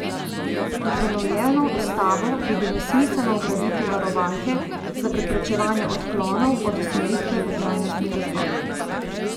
V prenovljeno ustavo bi bilo smiselno vgraditi varovalke za preprečevanje odklonov od usmeritve v trajnostni razvoj.